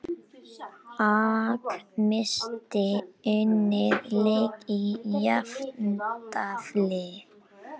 AG missti unninn leik í jafntefli